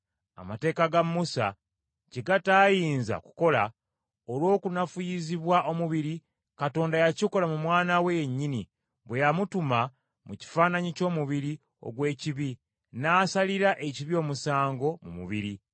Amateeka ga Musa kye gataayinza kukola, olw’okunafuyizibwa omubiri, Katonda yakikola mu Mwana we yennyini bwe yamutuma mu kifaananyi ky’omubiri ogw’ekibi, n’asalira ekibi omusango mu mubiri.